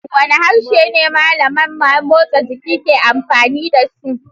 Wane harshe ne malaman motsa jiki ke amfani da su?